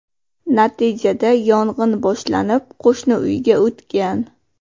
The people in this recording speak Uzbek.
Natijada yong‘in boshlanib, qo‘shni uyga o‘tgan.